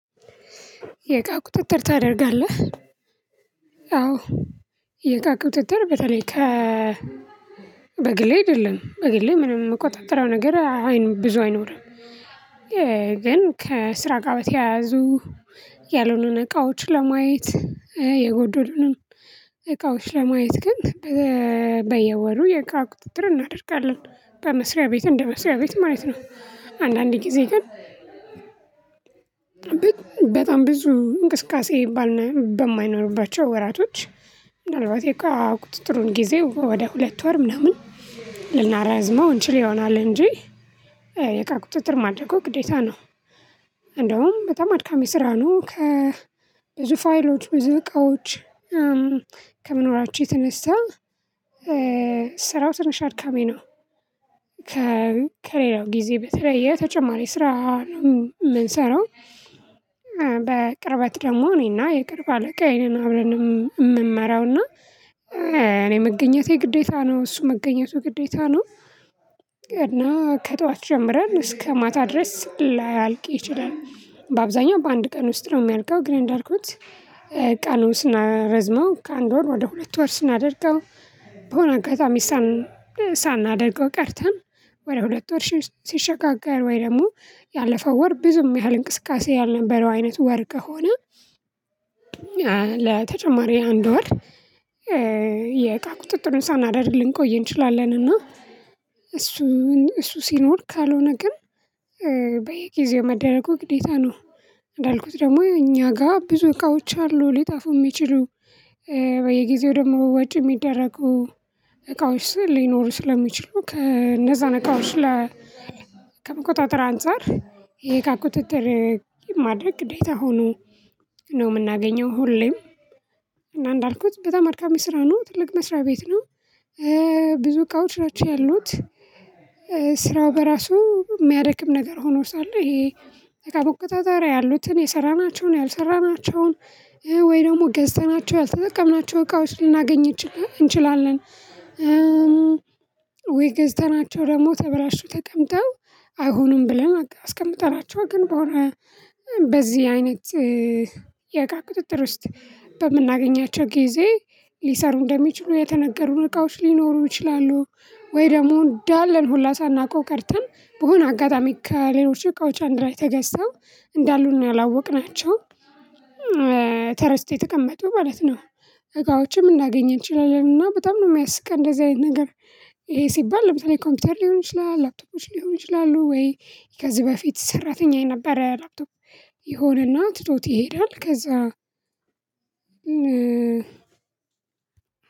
የቃ ቁጥጥር ታደርጋለህ አዎ የእቃ ቁጥጥር በተለይ ከ በግሌ አይደለም በግሌ ምንም የምቆጣጥረው ነገር አይኖርም ብዙ አይኖርም። ግን ከስራ ጋር በተያያዙ ያልሆነን እቃዎች ለማየት የጎዶሉንም እቃዎች ለማየት ግን በየወሩ የቃ ቁጥጥር እናደርጋለን በመስሪያ ቤት እንደመስሪያ ቤት ማለት ነው። አንዳንድ ጊዜ ግን በጣም ብዙ እንቅስቃሴ ባልነው ወራቶች ምናልባት የቁጥጥሩን ጊዜ ወደ ሁለት ወር ምናምን ልናራዝመው እንችል ይሆናል እንጂ የእቃ ቁጥጥር ማድረጉ ግዴታ ነው። እንደውም በጣም አድካሚ ስራ ነው ከ ብዙ ፋይሎች ብዙ እቃዎች ከመኖራቸው የተነሳ ስራው ትንሽ አድካሚ ነው። በጣም ብዙ እንቅስቃሴ በማይኖርባቸው ወራቶች ምናልባት የእቃ ቁጥጥሩን ጊዜ ወደ ሁለት ወር ምናምን ልናራዝመው እንችል ይሆናል እንጂ ስራ ምንሰራው በቅርበት ደግሞ እኔና የቅርብ አለቃዬን አብረን የምመራውና እኔ መገኘቴ ግዴታ ነው እሱ መገኘቱ ግዴታ ነው። እና ከጧት ጀምረን እስከ ማታ ድረስ ላያልቅ ይችላል። በአብዛኛው በአንድ ቀን ውስጥ ነው ሚያልቀው ግን እንዳልኩት ቀኑ ስናረዝመው ከአንድ ወር ወደ ሁለት ወር ስናደርገው በሆነ አጋጣሚ ሳናደርገው ቀርተን ወደ ሁለት ወር ሲሸጋገር ወይ ደግሞ ያለፈው ወር ብዙም ያህል እንቅስቃሴ ያልነበረው አይነት ወር ሆነ። ለተጨማሪ አንድ ወር የእቃ ቁጥጥሩን ሳናደርግል ልንቆይ እንችላለን እና እሱ እሱ ሲኖር ካልሆነ ግን በየጊዜው መደረጉ ግዴታ ነው። እንዳልኩት ደግሞ እኛ ጋር ብዙ እቃዎች አሉ ሊጣፉ የሚችሉ በየጊዜው ደግሞ ወጪ ሚደረጉ እቃዎች ሊኖሩ ስለሚችሉ ከነዛን እቃዎች ከመቆጣጠር አንፃር ይሄ ከቁጥጥር ማድረግ ግዴታ ሆኖ ነው የምናገኘው ሁሌም እና እንዳልኩት በጣም አድካሚ ስራ ነው ትልቅ መስሪያ ቤት ነው። ብዙ እቃዎች ናቸው ያሉት። ስራው በራሱ ሚያደክም ነገር ሆኖ ሳለ ይሄ በቁጥጥር ያሉትን የሰራናቸውን ያልሰራናቸውን ወይ ደግሞ ገዝተናቸው ያልተጠቀምናቸው እቃዎች ልናገኝ እንችላለን ወይ ገዝተናቸው ደግሞ ተበላሽተው ተቀምጠው አይሆኑም ብለን አስቀምጠናቸው ግን በሆነ በዚህ አይነት የእቃ ቁጥጥር ውስጥ በምናገኛቸው ጊዜ ሊሰሩ እንደሚችሉ የተነገሩን እቃዎች ሊኖሩ ይችላሉ። ወይ ደግሞ እንዳለን ሁላ ሳናውቀው ቀርተን በሆነ አጋጣሚ ከሌሎች እቃዎች አንድ ላይ ተገዝተው እንዳሉን ነው ያላወቅናቸው ተረስተው የተቀመጡ ማለት ነው። እቃዎችም ልናገኘን እንችላለን እና በጣም ነው የሚያስቀን እንደዚህ አይነት ነገር። ይሄ ሲባል ለምሳሌ ኮምፒውተር ሊሆን ይችላል ላፕቶፖች ሊሆን ይችላሉ ወይ ከዚህ በፊት ሰራተኛዬ ነበር ላፕቶፕ የሆነና ትቶት ይሄዳል ከዛ